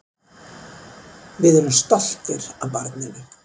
Við erum stoltir af barninu.